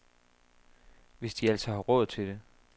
Hvis de altså har råd til det.